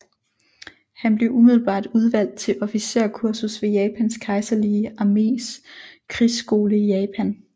Han blev umiddelbart udvalgt til officerskursus ved Japans kejserlige armés krigsskole i Japan